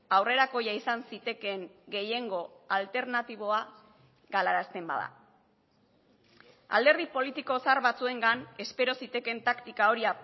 aurrerakoia izan zitekeen gehiengo alternatiboa galarazten bada alderdi politiko zahar batzuengan espero zitekeen taktika hori